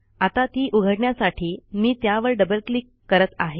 आता ती उघडण्यासाठी मी त्यावर डबल क्लिक करत आहे